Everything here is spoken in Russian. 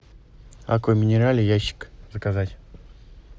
аква минерале ящик заказать